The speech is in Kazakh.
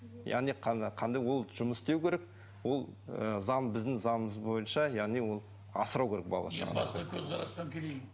яғни қандай ол жұмыс істеу керек ол ы заң біздің заңымыз бойынша яғни ол асырау керек баланы